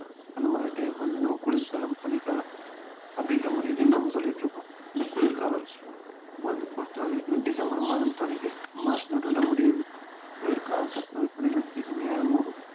அந்த மாதிரி time வந்து நம்ம குளிர்காலம் பனிக்காலம் அப்படின்ற முறையிலயும் நம்ம சொல்லிட்டு இருக்கோம் இந்த குளிர்காலம் வந்து பொறுத்த வரைக்கும் டிசம்பர் மாதம் தொடங்கி மார்ச் நடுவுல முடியுது குளிர்கால தட்பவெட்ப நிலை இனிமையாகவும்